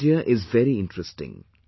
Their idea is very interesting